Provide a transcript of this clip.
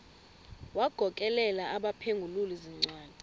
wagokelela abaphengululi zincwadi